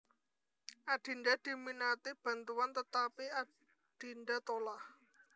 Adinda diminati bantuan tetapi Adinda tolah